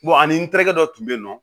ani n terikɛ dɔ tun bɛ yen nɔ